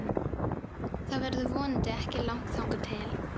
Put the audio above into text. Það verður vonandi ekki langt þangað til.